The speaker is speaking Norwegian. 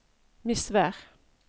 Misvær